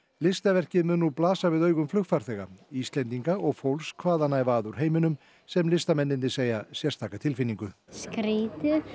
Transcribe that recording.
listaverkið mun blasa við augum flugfarþega Íslendinga og fólks hvaðanæva að úr heiminum sem listamennirnir segja sérstaka tilfinningu skrýtið